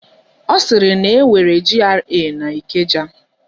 Ọ sịrị na enwere GRA n'Ikeja.